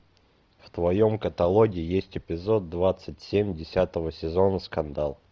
в твоем каталоге есть эпизод двадцать семь десятого сезона скандал